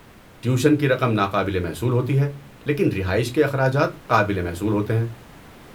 Tuition کی رقم ناقابل محصول ہوتی ہے، لیکن رہائش کے اخراجات قابل محصول ہوتے ہیں۔